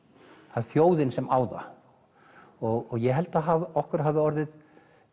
það er þjóðin sem á það og ég held að okkur hafi orðið